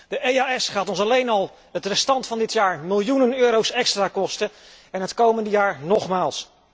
De EDEO gaat ons alleen al het resterende deel van dit jaar miljoenen euro extra kosten en het komende jaar nogmaals.